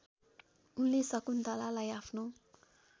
उनले शकुन्तलालाई आफ्नो